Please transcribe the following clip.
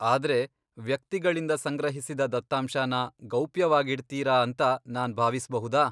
ಆದ್ರೆ ವ್ಯಕ್ತಿಗಳಿಂದ ಸಂಗ್ರಹಿಸಿದ ದತ್ತಾಂಶನ ಗೌಪ್ಯವಾಗಿಡ್ತೀರಾ ಅಂತ ನಾನ್ ಭಾವಿಸ್ಬಹುದಾ?